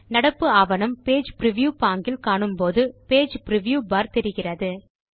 நடப்பு ஆவணம் page preview பாங்கில் காணும் போது பேஜ் பிரிவ்யூ பார் தெரிகிறது